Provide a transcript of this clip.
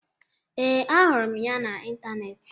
Ee, ahụrụ m ya n'ịntanetị